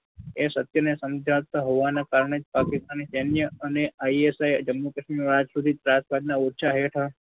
એ સત્યને સૌ જાણતા હોવાના કારણે પાકિસ્તાનના સૈન્ય અને ISI જમ્મુ કાશ્મીરમાં આજ સુધી રાજપાટ ના હેઠળ